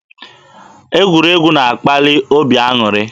Egwuregwu na-akpali obi aṅụrị.